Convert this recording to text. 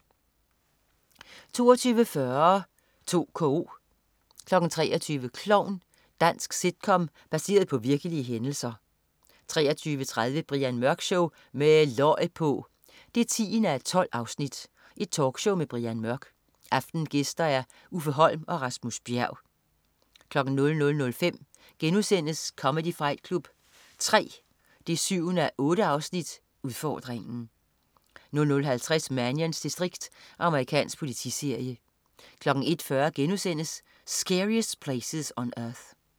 22.40 2KO 23.00 Klovn. Dansk sitcom baseret på virkelige hændelser 23.30 Brian Mørk Show. Med løg på! 10:12. Talkshow med Brian Mørk. Aftenens gæster: Uffe Holm og Rasmus Bjerg 00.05 Comedy Fight Club 3 7:8. Udfordringen* 00.50 Mannions distrikt. Amerikansk politiserie 01.40 Scariest Places on Earth*